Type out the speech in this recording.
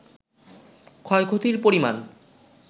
ক্ষয়ক্ষতির পরিমান